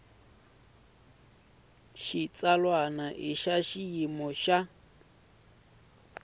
xitsalwana i ya xiyimo xa